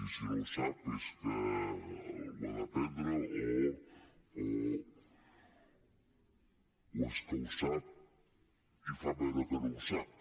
i si no ho sap és que ho ha d’aprendre o és que ho sap i fa veure que no ho sap